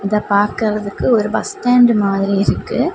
இத பாக்குறதுக்கு ஒரு பஸ் ஸ்டாண்ட் மாதிரி இருக்கு.